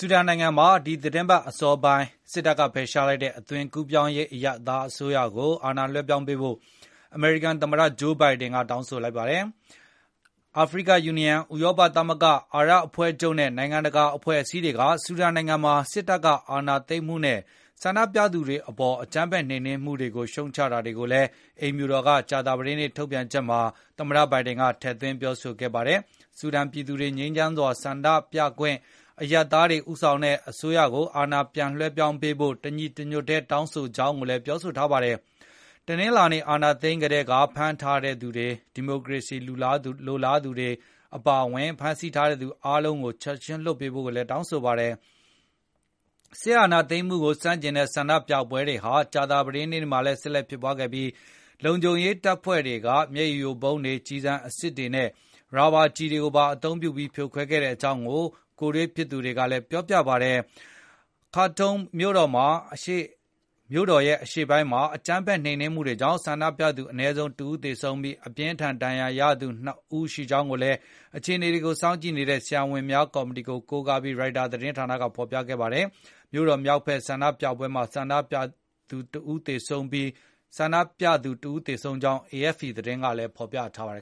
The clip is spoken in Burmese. ူဒန်နိုင်ငံမှာ ဒီသီတင်းပတ် အစောပိုင်း စစ်တပ်က ဖယ်ရှားလိုက်တဲ့ အသွင်ကူးပြောင်းရေး အရပ်သား အစိုးရကို အာဏာလွဲှပြောင်းပေးဖို့ အမေရိကန်သမ္မတ Joe Biden က တောင်းဆိုလိုက်ပါတယ်။ အာဖရိကယူနီယံ၊ ဥရောပသမဂ္ဂ၊ အာရပ်အဖွဲ့ချုပ်နဲ့ နိုင်ငံတကာ အဖွဲ့အစည်းတွေက ဆူဒန်နိုင်ငံမှာ စစ်အာဏာသိမ်းမှုနဲ့ ဆန္ဒပြသူတွေအပေါ် အကြမ်းဖက် နှိမ်နင်းမှုတွေကို ရှုတ်ချကြတာတွေကိုလည်း အိမ်ဖြူတော်က ကြာသပတေးနေ့ ထုတ်ပြန်ချက်မှာ သမ္မတဘိုင်ဒင်က ထည့်သွင်း ပြောဆိုခဲ့ပါတယ်။ ဆူဒန်ပြည်သူတွေ ငြိမ်းချမ်းစွာ ဆန္ဒပြခွင့်ပြုဖို့၊ အရပ်သားတွေ ဦးဆောင်တဲ့ အစိုးရကို အာဏာပြန်လွဲှပြောင်းပေးဖို့ တညီတညွတ်တည်း တောင်းဆိုကြောင်းလည်း ပြောဆိုခဲ့တာပါ။ တနင်္လာနေ့အာဏာသိမ်းထားကတည်းက ဖမ်းဆီးထားတဲ့ ဒီမိုကရေစီလိုလားသူတွေ အပါအဝင်ဖမ်းဆီးထားသူအားလုံးကို ချက်ခြင်းလွှတ်ပေးဖို့ကိုလည်း တောင်းဆိုလိုက်ပါတယ်။ စစ်အာဏာသိမ်းမှုကို ဆန့်ကျင်တဲ့ ဆန္ဒပြပွဲတွေဟာ ကြာသပတေးနေ့မှာလည်း ဆက်လက်ဖြစ်ပွားခဲ့ပြီး၊ လုံခြုံရေးတပ်ဖွဲ့တွေက မျက်ရည်ယိုဗုံးတွေ၊ ကျည်အစစ်တွေနဲ့ ရာဘာကျည်တွေသုံးပြီး ဖြိုခွဲခဲ့ကြောင်းလည်း ကိုယ်တိုင်တွေ့သူတွေက ပြောပါတယ်။ Khartoum မြို့တော် အရှေ့ပိုင်းမှာ အကြမ်းဖက် နှိမ်နင်းမှုတွေကြောင့် ဆန္ဒပြသူ အနည်းဆုံး ၁ ဦးသေဆုံးပြီး၊ အပြင်းအထန် ဒဏ်ရာရသူ ၂ ဦး ရှိခဲ့ကြောင်းလည်း အခြေအနေကို စောင့်ကြည့်နေတဲ့ ဆရာဝန်များကော်မတီကို ကိုးကားပြီး Reuters သတင်းဌာနက ဖော်ပြခဲ့ပါတယ်။ မြို့တော် မြောက်ဖက်က ဆန္ဒပြပွဲမှာလည်း ဆန္ဒပြသူတဦး သေဆုံးခဲ့ကြောင်း AFP သတင်းကလည်း ဖော်ပြခဲ့ပါတယ်